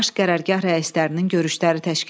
Baş qərargah rəislərinin görüşləri təşkil edildi.